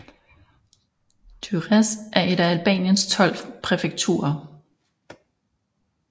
Durrës er et af Albaniens tolv præfekturer